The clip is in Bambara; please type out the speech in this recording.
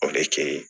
O de kɛ ye